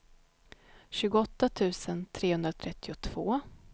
tjugoåtta tusen trehundratrettiotvå